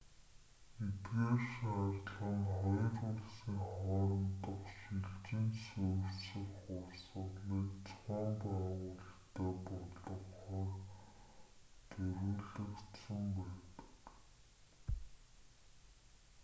эдгээр шаардлага нь хоёр улсын хоорондох шилжин суурьших урсгалыг зохион байгуулалттай болгохоор зориулагдсан байдаг